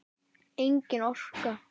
Engin orka.